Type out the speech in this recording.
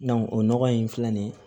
o nɔgɔ in filɛ nin ye